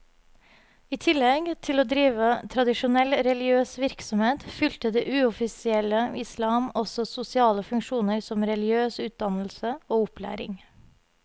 I tillegg til å drive tradisjonell religiøs virksomhet, fylte det uoffisielle islam også sosiale funksjoner som religiøs utdannelse og opplæring.